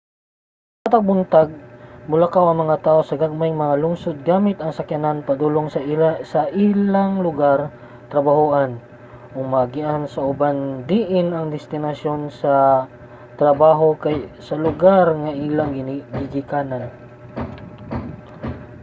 matag buntag molakaw ang mga tawo sa gagmayng mga lungsod gamit ang sakyanan padulong sa ilang lugar-trabahoan ug maagian sa uban diin ang destinasyon sa trabaho kay sa lugar nga ilang gigikanan